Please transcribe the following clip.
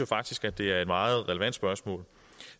faktisk at det er et meget relevant spørgsmål